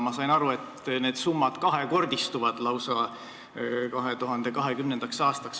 Ma sain aru, et need summad 2020. aastaks lausa kahekordistuvad.